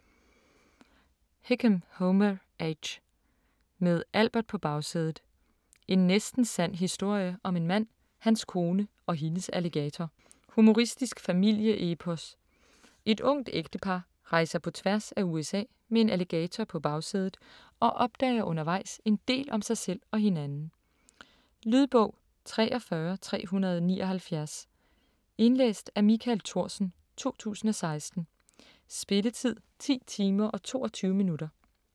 Hickam, Homer H.: Med Albert på bagsædet: en næsten sand historie om en mand, hans kone og hendes alligator Humoristisk familieepos. Et ungt ægtepar rejser på tværs af USA med en alligator på bagsædet og opdager undervejs en del om sig selv og hinanden. Lydbog 43379 Indlæst af Michael Thorsen, 2016. Spilletid: 10 timer, 22 minutter.